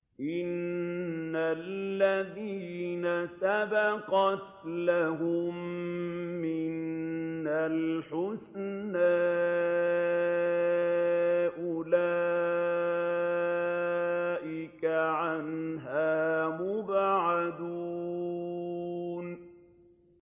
إِنَّ الَّذِينَ سَبَقَتْ لَهُم مِّنَّا الْحُسْنَىٰ أُولَٰئِكَ عَنْهَا مُبْعَدُونَ